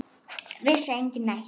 Vissi enginn neitt?